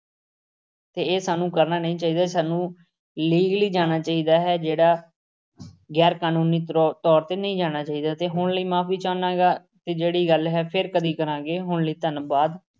ਅਤੇ ਇਹ ਸਾਨੂੰ ਕਰਨਾ ਨਹੀਂ ਚਾਹੀਦਾ, ਸਾਨੂੰ legally ਜਾਣਾ ਚਾਹੀਦਾ ਹੈ। ਜਿਹੜਾ ਗੈਰਕਾਨੂੰਨੀ ਤਰੋ ਤੌਰ ਤੇ ਨਹੀਂ ਜਾਣਾ ਚਾਹੀਦਾ ਅਤੇ ਹੁਣ ਲਈ ਮੁਆਫੀ ਚਾਹੁੰਦਾ ਹਾਂ। ਇਹ ਜਿਹੜੀ ਗੱਲ ਹੈ ਫੇਰ ਕਦੀ ਕਰਾਂਗੇ। ਹੁਣ ਲਈ ਧੰਨਵਾਦ।